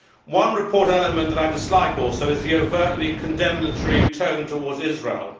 One report element that I dislike is the overtly condemnatory tone towards Israel.